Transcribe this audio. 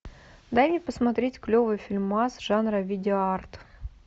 дай мне посмотреть клевый фильмас жанра видео арт